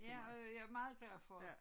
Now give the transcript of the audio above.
Ja og jeg er meget glad for det